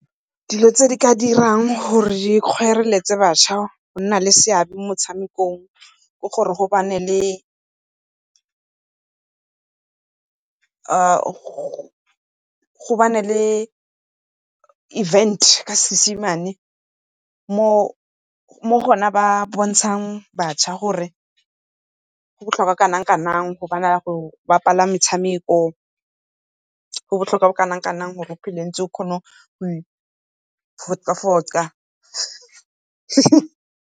Dilo tse di ka dirang gore di kgoroletse batjha go nna le seabe mo metshamekong ke gore gobane le event ka Seesemane mo gona ba bontshang batšha gore go botlhokwa jo bo kanang-kanang metshameko go botlhokwa jo bo kanang-kanang gore o phele o ntse o kgona go .